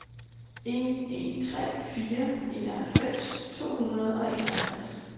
en en tre fire enoghalvfems to hundrede og enoghalvtreds